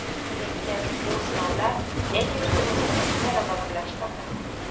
Lekin bu sinovlar el-yurtimizni yanada birlashtirdi.